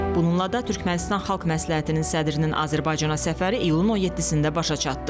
Bununla da Türkmənistan xalq məsləhətinin sədrinin Azərbaycana səfəri iyulun 17-də başa çatdı.